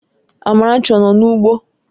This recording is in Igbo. Amarachi ọ nọ n'ugbo?